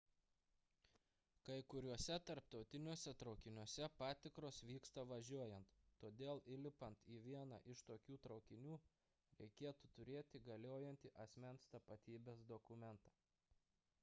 kai kuriuose tarptautiniuose traukiniuose patikros vyksta važiuojant todėl lipant į vieną iš tokių traukinių reikėtų turėti galiojantį asmens tapatybės dokumentą